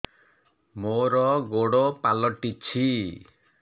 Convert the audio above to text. ମୋର ଗୋଡ଼ ପାଲଟିଛି